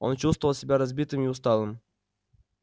он чувствовал себя разбитым и усталым